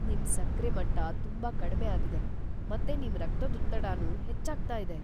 ನಿಮ್ ಸಕ್ರೆ ಮಟ್ಟ ತುಂಬಾ ಕಡ್ಮೆ ಆಗಿದೆ, ಮತ್ತೆ ನಿಮ್ ರಕ್ತದೊತ್ತಡನೂ ಹೆಚ್ಚಾಗ್ತಾ ಇದೆ.